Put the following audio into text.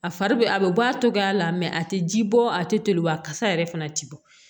A fari bɛ a bɛ bɔ a cogoya la a tɛ ji bɔ a tɛ toli wa a kasa yɛrɛ fana tɛ bɔ